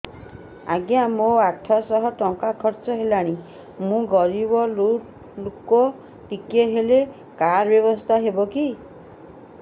ଆଜ୍ଞା ମୋ ଆଠ ସହ ଟଙ୍କା ଖର୍ଚ୍ଚ ହେଲାଣି ମୁଁ ଗରିବ ଲୁକ ଟିକେ ହେଲ୍ଥ କାର୍ଡ ବ୍ୟବସ୍ଥା ହବ କି